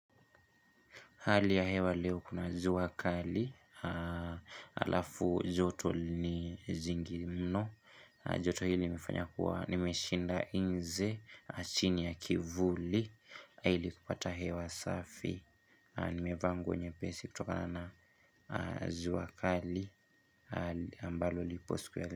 Hali ya hewa leo kuna ziwa kali, alafu joto ni zingi mno, joto hili mfanya kuwa, nimeshinda inze, chini ya kivuli, hili kupata hewa safi, nimevangu nye pesi kutoka na na ziwakali, ambalo li poskwele.